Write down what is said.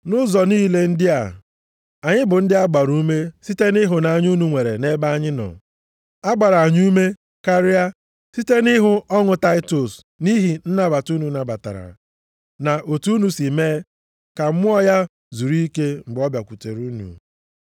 Nʼụzọ niile ndị a, anyị bụ ndị a gbara ume site nʼịhụnanya unu nwere nʼebe anyị nọ. A gbara anyị ume karịa site na ịhụ ọṅụ Taịtọs nʼihi nnabata unu nabatara, na otu unu si mee ka mmụọ ya zuru ike mgbe ọ bịakwutere unu.